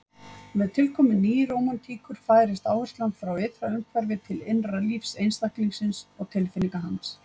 Með tilkomu nýrómantíkur færist áherslan frá ytra umhverfi til innra lífs einstaklingsins og tilfinninga hans.